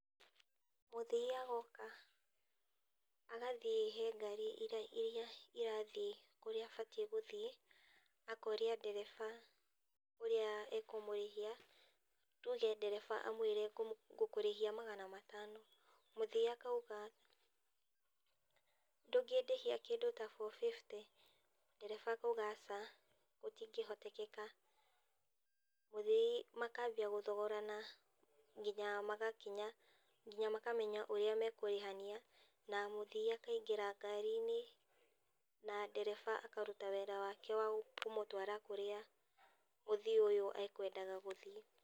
Mũthii agoka, agathiĩ he ngari ĩrĩa iria irathiĩ kũrĩa abatiĩ gũthiĩ, akoria ndereba ũrĩa e kũmũrĩhia. Tuge ndereba amwĩre ngũkũrĩhia magana matano, mũthii akauga, ndũngĩndĩhia kĩndũ ta four fifty, ndereba akauga aca, gũtingĩhotekeka. Mũthii makambia gũthogorana, nginya magakinya nginya makamenya ũrĩa mekũrĩhania, na mũthii akaingĩra ngarinĩ, na ndereba akaruta wĩra wake wa kũmũtwara kũrĩa mũthii ũyũ akwendaga gũthiĩ